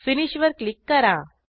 finish वर click करा